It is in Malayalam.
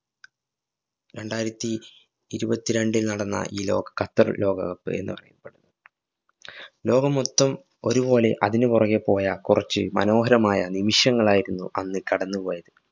രണ്ടായിരത്തി ഇരുപത്തിരണ്ടില്‍ നടന്ന ഈ ലോക ഖത്തര്‍ ലോകകപ്പ് എന്ന് ലോകം മൊത്തം ഒരുപോലെ അതിനു പുറകെ പോയ കുറച്ചു മനോഹരമായ നിമിഷങ്ങളായിരുന്നു അന്ന് കടന്നുപോയത്.